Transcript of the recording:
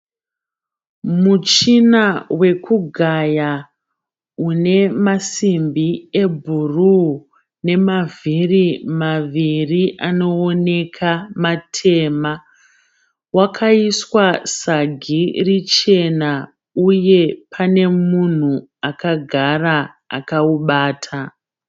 Muchina wekugaya une masimbi ebhuruu nemavhiri maviri anooneka matema. Wakaiswa sagi richena uye pane munhu akagara akaubata.